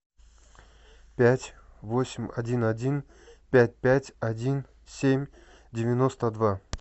пять восемь один один пять пять один семь девяносто два